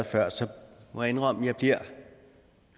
før så må jeg indrømme at jeg bliver